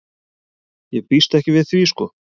Ég býst ekki við því sko.